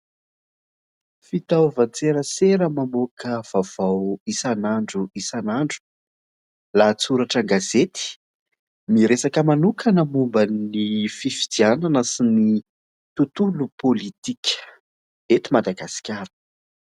Fitaovan-tserasera mamoaka vaovao isan'andro isan'andro. Lahatsoratra an-gazety, miresaka manokana momban'ny fifidianana sy ny tonolo pôlitika eto Madagasikara.